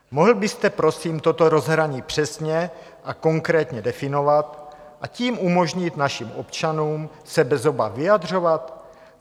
Mohl byste, prosím, toto rozhraní přesně a konkrétně definovat a tím umožnit našim občanům se bez obav vyjadřovat?